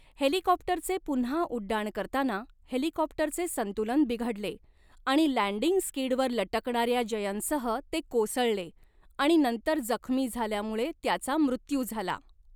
हेलिकॉप्टरचे पुन्हा उड्डाण करताना हेलिकॉप्टरचे संतुलन बिघडले आणि लँडिंग स्किडवर लटकणाऱ्या जयनसह ते कोसळले आणि नंतर जखमी झाल्यामुळे त्याचा मृत्यू झाला.